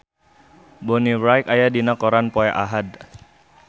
Bonnie Wright aya dina koran poe Ahad